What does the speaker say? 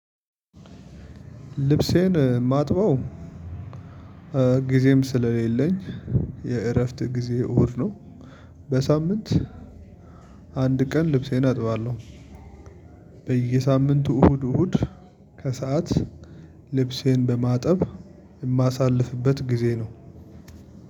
ልብሴን ማጥበው ጊዜም ስለሌለኝ የእረፍት ጊዜ እሁድ ነው። በሳምንት አንድ ቀን ልብሴን አጥባለሁ። በየሳምንቱ እሁድ እሁድ ከሰአት ልብሴን በማጠብ እማሳልፍበት ጊዜ ነው።